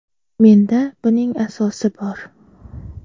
Menda buning asosi bor.